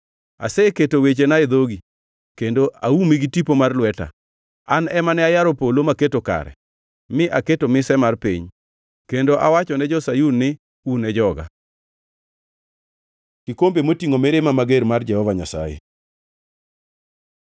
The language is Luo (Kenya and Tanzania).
Aseketo wechena e dhogi kendo aumi gi tipo mar lweta, an ema ne ayaro polo maketo kare, mi aketo mise mar piny kendo awachone jo-Sayun ni, ‘Un e joga.’ ” Kikombe motingʼo mirima mager mar Jehova Nyasaye